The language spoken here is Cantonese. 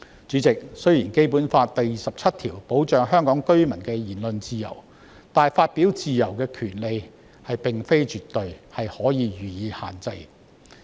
主席，雖然《基本法》第二十七條保障香港居民的言論自由，但發表言論的自由並非絕對，是可以予以限制的。